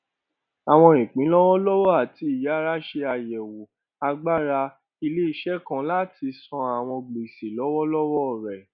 àwọn ìpín lọwọlọwọ àti ìyára ṣe àyẹwò agbára iléiṣẹ kan láti san àwọn gbèsè lọwọlọwọ rẹ